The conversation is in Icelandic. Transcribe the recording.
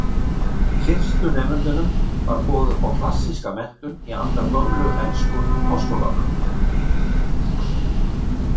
Fyrstu nemendunum var boðið upp á klassíska menntun í anda gömlu ensku háskólanna.